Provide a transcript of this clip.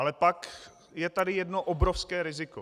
Ale pak je tady jedno obrovské riziko.